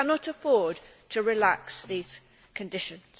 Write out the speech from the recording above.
We cannot afford to relax these conditions.